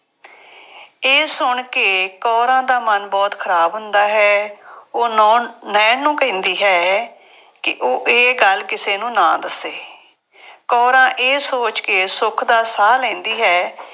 ਇਹ ਸੁਣ ਕੇ ਕੌਰਾਂ ਦਾ ਮਨ ਬਹੁਤ ਖਰਾਬ ਹੁੰਦਾ ਹੈ। ਉਹ ਨੌ ਅਹ ਨਾਇਣ ਨੂੰ ਕਹਿੰਦੀ ਹੈ, ਕਿ ਉਹ ਇਹ ਗੱਲ ਕਿਸੇ ਨੂੰ ਨਾ ਦੱਸੇ। ਕੌਰਾਂ ਇਹ ਸੋਚ ਕੇ ਸੁੱਖ ਦਾ ਸਾਹ ਲੈਂਦੀ ਹੈ